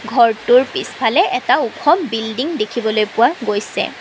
ঘৰটোৰ পিছফালে এটা ওখ বিল্ডিং দেখিবলৈ পোৱা গৈছে।